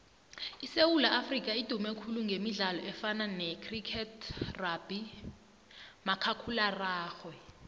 isewula afrika idume khulu gemidlalo efana necriketrugbymakhakulararhwe